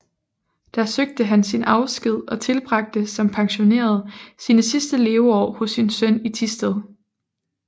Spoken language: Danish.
Da søgte han sin afsked og tilbragte som pensioneret sine sidste leveår hos sin søn i Thisted